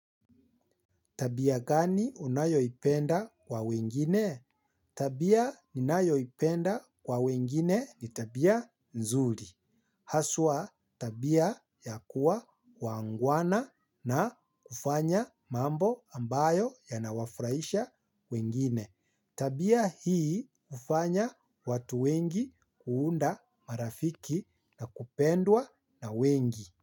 Tabia gani unayoipenda kwa wengine? Tabia ninayoipenda kwa wengine ni tabia nzuri. Haswa tabia ya kuwa waangwana na kufanya mambo ambayo yanawafurahisha wengine. Tabia hii hufanya watu wengi kuunda marafiki na kupendwa na wengi.